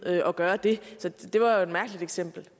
at gøre det så det var jo et mærkeligt eksempel